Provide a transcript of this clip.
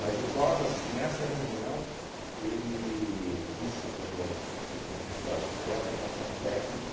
Mas o Covas, nessa reunião, ele disse para eu, se te disse, olha, se tiver aprovação técnica,